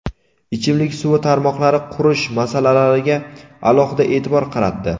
ichimlik suvi tarmoqlari qurish masalalariga alohida e’tibor qaratdi.